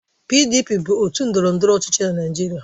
PDP bụ otu ndọrọndọrọ ọchịchị na Naịjirịa.